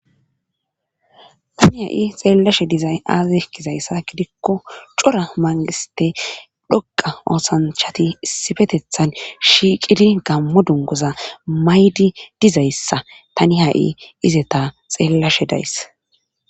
Tani ha7i xeellashe dizay aazaz kizayssa gidikko cora mangiste dhoqa oosanchati sifetethan shiiqidi gammo dungoza maydi dizayssa tani ha7i izeta xeellashe days